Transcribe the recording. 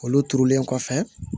Olu turulen kɔfɛ